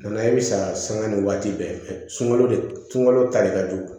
Na i bɛ saŋa ni waati bɛɛ sunɔgɔ de sunkalo tali ka jugu